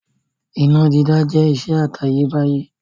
Iná dídá jẹ́ ìṣe àtayébáyé.